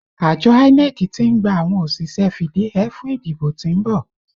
Àjọ INEC tí ń gba àwọn òṣìṣẹ́ fìdíhẹẹ́ fún ìdìbò to ń bọ̀